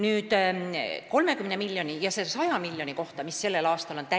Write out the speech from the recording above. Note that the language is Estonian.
Nüüd, 30 miljoni ja 100 miljoni kohta, mis on sellel aastal lisaraha.